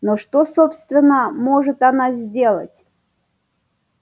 но что собственно может она сделать